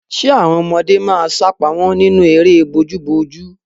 Ṣẹ àwọn ọmọdé máa sápamọ́ nínú eré bojúbojú?